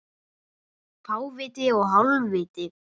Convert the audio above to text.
Fáviti og hálfviti